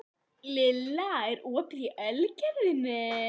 Lilla, er opið í Ölgerðinni?